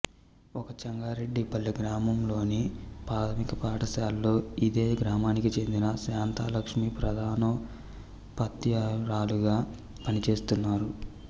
ఇక చెంగారెడ్డి పల్లె గ్రామంలోని ప్రాధమిక పాఠశాలలో ఇదే గ్రామానికి చెందిన శాంతాలక్ష్మి ప్రధానోపాద్యాయురాలిగా పనిచేస్తున్నారు